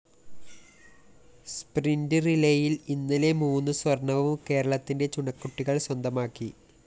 sprint റിലേയില്‍ ഇന്നലെ മൂന്ന് സ്വര്‍ണ്ണവും കേരളത്തിന്റെ ചുണക്കുട്ടികള്‍ സ്വന്തമാക്കി